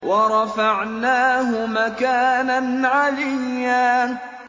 وَرَفَعْنَاهُ مَكَانًا عَلِيًّا